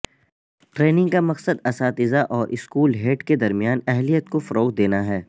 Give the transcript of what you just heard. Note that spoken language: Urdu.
ٹرینگ کا مقصد اساتذہ اور اسکول ہیڈ کے درمیان اہلیت کو فروغ دینا ہے